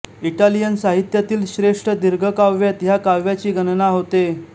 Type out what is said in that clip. Italian साहित्यातील श्रेष्ठ दीर्घकाव्यांत ह्या काव्याची गणना होते